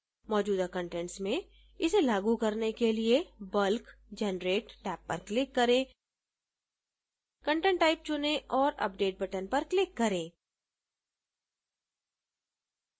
मौजूदा कंटेंट्स में इसे लागू करने के लिए bulk generate टैब पर click करें content type चुनें और update button पर click करें